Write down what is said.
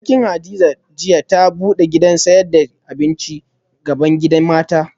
Abokina Hadiza jiya ta bude gidan sayad da abinci bgaban gidan mata